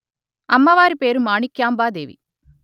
అమ్మవారి పేరు మాణిక్యాంబా దేవి